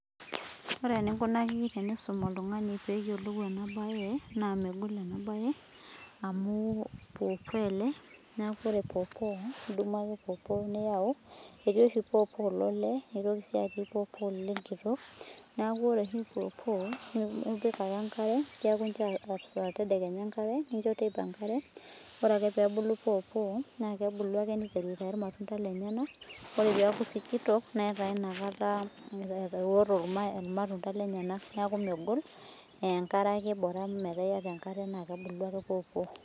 Ore eninkunaki pisum oltung'ani peyiolou enabae, naa megol enabae amu pawpaw, neku ore pawpaw idumu ake pawpaw niyau, etii oshi pawpaw lolee netii ake pawpaw lenkitok, neeku ore oshi pawpaw, nipik ake enkare, keku incho tedekenya enkare, nincho teipa enkare, ore ake pebulu pawpaw, nakebulu ake niteru aitayu irmatunda lenyanak, ore peku sikitok, netaa nakata ewoto irmatunda lenyanak. Neeku megol, enkare ake bora metaa yata enkare nakebulu ake pawpaw.